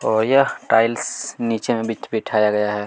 और यह टाइल्स नीचे में बिठ बिठाया गया है।